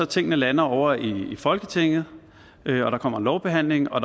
tingene lander ovre i folketinget og der kommer en lovbehandling og